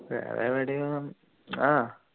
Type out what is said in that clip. വേറെ എവിടേം